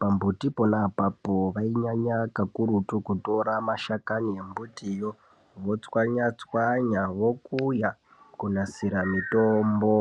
Pambuti ponapapo vainyanya kakurutu, kutora mashakani embutiyo votswanya -tswanya, vokuya , kunasira mitombo.